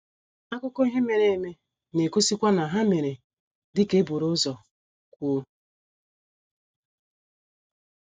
Akụkọ ihe mere eme na - egosikwa na ha mere dị ka e buru ụzọ kwuo.